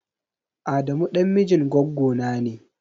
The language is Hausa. Adamu ɗan mijin gwaggona ne.